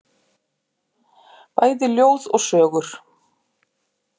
Bæði ljóð og sögur.